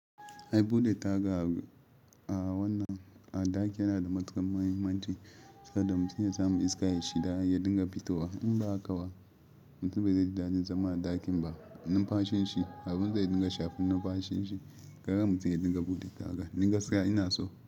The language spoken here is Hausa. Ai bude taga a wannan, a ɗaki yana da matukar muhimmanci saboda mutum ya samu iska ya shida, ya dinga fitowa. In ba haka ba, mutum bai za ji daɗin zama a ɗakin ba. Numfashin shi, abun zai dinga shafin numfashin shi, gara mutum ya dinga bude taga. Ni gaskiya ina so.